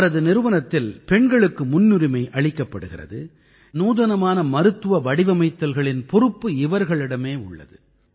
இவரது நிறுவனத்தில் பெண்களுக்கு முன்னுரிமை அளிக்கப்படுகிறது நூதனமான மருத்துவ வடிவமைத்தல்களின் பொறுப்பு இவர்களிடமே உள்ளது